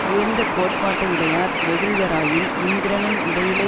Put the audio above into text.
உயர்ந்த கோட்பாட்டை யுடையார் வெகுள்வராயின் இந்திரனும் இடையிலே